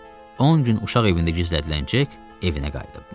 10 gün uşaq evində gizlədilən Jack evinə qayıdıbmış.